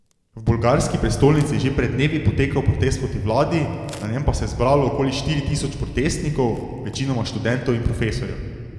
V bolgarski prestolnici je že pred dnevi potekal protest proti vladi, na njem pa se je zbralo okoli štiri tisoč protestnikov, večinoma študentov in profesorjev.